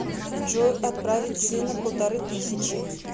джой отправить сына полторы тысячи